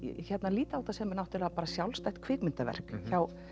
líta á þetta sem sjálfstætt kvikmyndaverk hjá